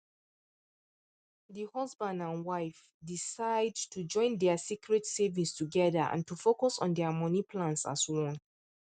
the husband and wife decide to join their secret savings together and to focus on their money plans as one